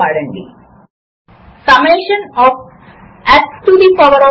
ఇక్కడ టైమ్స్ అనే పదమును గమనించండి